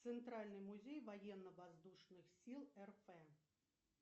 центральный музей военно воздушных сил рф